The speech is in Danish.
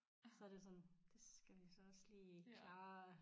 Så er det sådan det skal vi så også lige klare